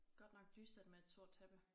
Godt nok dystert med et sort tæppe